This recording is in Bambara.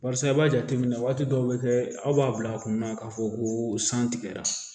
Barisa i b'a jateminɛ waati dɔ bɛ kɛ aw b'a bila a kunna k'a fɔ ko san tigɛra